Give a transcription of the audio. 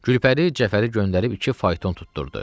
Gülpəri Cəfəri göndərib iki fayton tutdurdu.